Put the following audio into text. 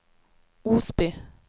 Osby